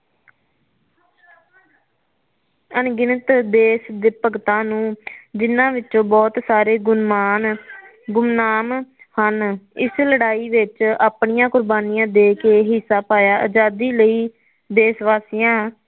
ਅਨਗਿਣਤ ਦੇਸ਼ ਦੇ ਭਗਤਾ ਨੂੰ ਜਿਨਾਂ ਵਿਚੋਂ ਬਹੁਤ ਸਾਰੇ ਗੁਣਮਾਨ ਗੁਮਨਾਮ ਹਨ ਇਸ ਲੜਾਈ ਵਿੱਚ ਆਪਣਿਆਂ ਕੁਰਬਾਨੀਆਂ ਦੇ ਕੇ ਹਿੱਸਾ ਪਾਇਆ ਆਜਾਦੀ ਲਈ ਦੇਸਵਾਸੀਆ